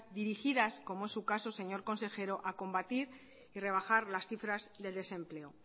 dirigidas como es su caso señor consejero a combatir y rebajar la cifras del desempleo